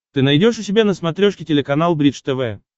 ты найдешь у себя на смотрешке телеканал бридж тв